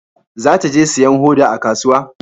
Za ta je sayan hoda a kasuwa